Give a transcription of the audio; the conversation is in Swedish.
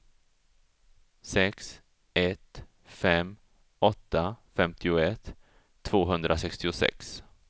sex ett fem åtta femtioett tvåhundrasextiosex